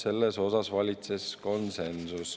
Selles osas valitses konsensus.